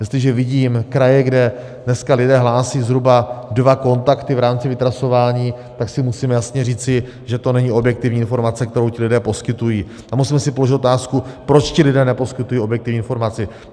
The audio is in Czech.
Jestliže vidím kraje, kde dneska lidé hlásí zhruba dva kontakty v rámci vytrasování, tak si musíme jasně říci, že to není objektivní informace, kterou ti lidé poskytují, a musíme si položit otázku, proč ti lidé neposkytují objektivní informaci.